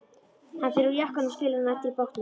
Hann fer úr jakkanum og skilur hann eftir í bátnum.